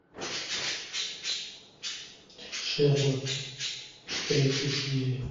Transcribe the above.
шерлок третья серия